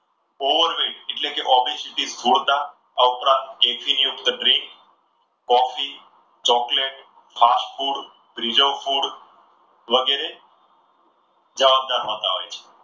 ઓવરબ્રીટ એટલે ઓબીસીડી સ્થૂળતા આ ઉપરાંત acid યુક્ત drink coffee, chocolate, fast food, preserve food વગેરે જવાબદાર હોતા હોય છે.